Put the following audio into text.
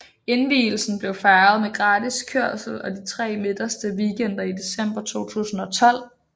Indvielsen blev fejret med gratis kørsel de tre midterste weekender i december 2012